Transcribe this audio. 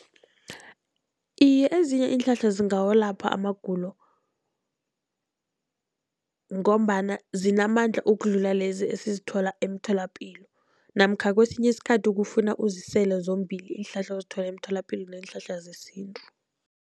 Iye, ezinye iinhlahla zingawalapha amagulo, ngombana zinamandla ukudlula lezi esizithola emtholapilo namkha kesinye isikhathi kufuna uzisele zombili iinhlahla ozithola emtholapilo neenhlahla zesintu.